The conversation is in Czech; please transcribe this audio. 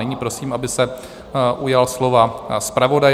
Nyní prosím, aby se ujal slova zpravodaj.